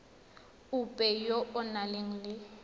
ope yo o nang le